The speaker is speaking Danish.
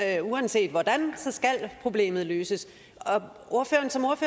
at uanset hvordan så skal problemet løses